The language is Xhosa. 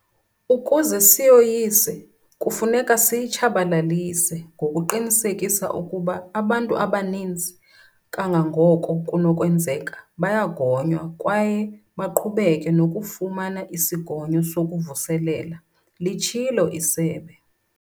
Ukuze siyoyise, kufuneka siyitshabalalise ngokuqinisekisa ukuba abantu abaninzi kangangoko kunokwenzeka bayagonywa kwaye baqhubeke nokufumana isigonyo sokuvuselela, litshilo isebe.